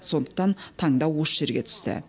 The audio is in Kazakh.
сондықтан таңдау осы жерге түсті